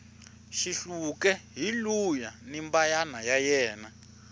xihluke hi luuya ni mbayna ya ena